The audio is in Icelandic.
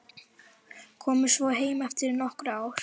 Komið svo heim eftir nokkur ár.